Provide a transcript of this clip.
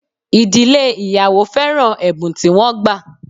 Idile ìyàwó féràn ẹ̀bùn tí wọ́n gbà